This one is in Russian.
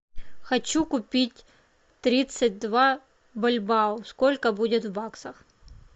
хочу купить тридцать два бальбоа сколько будет в баксах